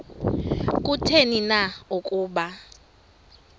kutheni na ukuba